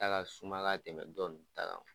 Ta ka suma ka tɛmɛ dɔ nin ta kan